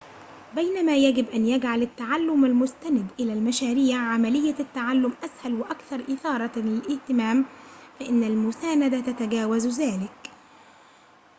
بينما يجب أن يجعل التعلم المستند إلى المشاريع عملية التعلم أسهل وأكثر إثارة للاهتمام فإن المساندة تتجاوز ذلك